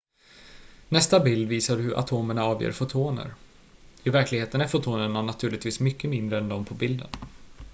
nästa bild visar hur atomerna avger fotoner i verkligheten är fotonerna naturligtvis mycket mindre än de på bilden